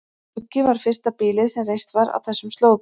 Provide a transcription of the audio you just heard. Skuggi var fyrsta býlið sem reist var á þessum slóðum.